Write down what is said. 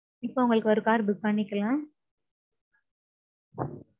இப்போ உங்களுக்கு ஒரு car book பண்ணிக்கலாம்.